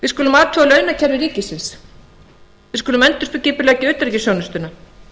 við skulum athuga launakerfi ríkisins við skulum endurskipuleggja utanríkisþjónustuna